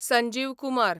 Sanjeev Kumar